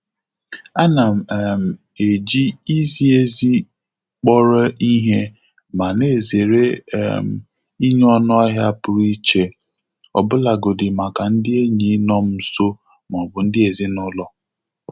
Ana um m um eji izi ezi kpọrọ ihe ma na-ezere um ịnye ọnụahịa pụrụ iche, ọbụlagodi maka ndị enyi nọ m nso ma ọ bụ ndị ezinụlọ.